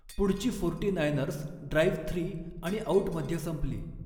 पुढची forty niners drive three आणि आउटमध्ये संपली.